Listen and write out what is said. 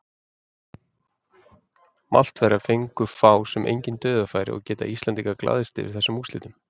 Maltverjar fengu fá sem engin dauðafæri og geta Íslendingarnir glaðst yfir þessum úrslitum.